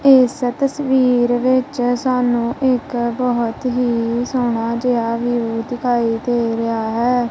ਏਸ ਤਸਵੀਰ ਵਿੱਚ ਸਾਨੂੰ ਇੱਕ ਬੌਹਤ ਹੀ ਸੋਹਣਾ ਜੇਹਾ ਵਿਊ ਦਿਖਾਈ ਦੇ ਰਿਹਾ ਹੈ।